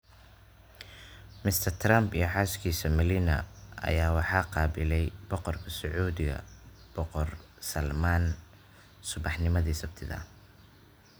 Mr. Trump iyo xaaskiisa Melania ayaa waxaa qaabilay Boqorka Sacuudiga Boqor Salmaan subaxnimadii Sabtida.